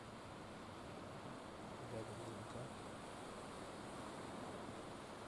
рядом днк